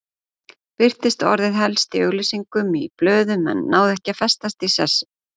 Birtist orðið helst í auglýsingum í blöðum en náði ekki að festast í sessi.